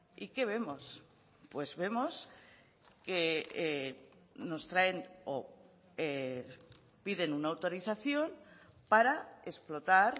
y qué vemos pues vemos que nos traen o piden una autorización para explotar